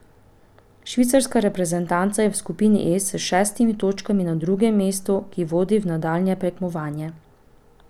Švicarska reprezentanca je v skupini E s šestimi točkami na drugem mestu, ki vodi v nadaljnje tekmovanje.